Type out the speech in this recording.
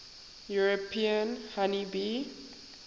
european honey bee